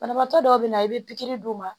Banabaatɔ dɔw be na i be pikiri d'u ma